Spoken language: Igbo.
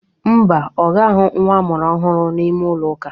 Ḿbà, oga ahụ nwa amụrụ ọhụrụ n'ime ụlọ ụka